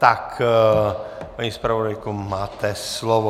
Tak paní zpravodajko, máte slovo.